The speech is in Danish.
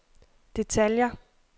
detaljer